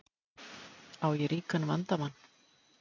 Á ég ríkan vandamann?